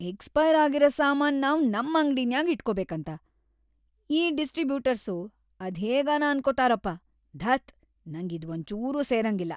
Expire ಆಗಿರ ಸಾಮಾನ್‌‌ ನಾವ್ ನಮ್ ಅಂಗ್ಡಿನ್ಯಾಗ್ ಇಟ್ಕೋಬೇಕಂತ ಈ ಡಿಸ್ಟ್ರಿಬ್ಯೂಟರ್ಸು ಅದ್ಹೇಗನ ಅನ್ಕೊತಾರಪ, ಧತ್! ನಂಗ್ ಇದ್ವಂಚೂರೂ ಸೇರಂಗಿಲ್ಲ.